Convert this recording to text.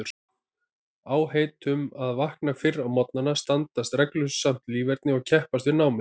Áheit um að vakna fyrr á morgnana, stunda reglusamt líferni og keppast við námið.